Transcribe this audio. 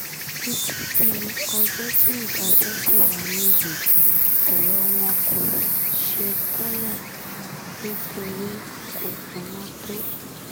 títí di ọjọ́ tí ìdájọ́ ṣì wáyé yìí ọ̀rọ̀ wọn kò ṣeé tẹ̀lé nítorí kò kúnná tó